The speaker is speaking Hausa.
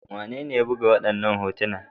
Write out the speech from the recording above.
Wanene ya buga waɗannan hotuna?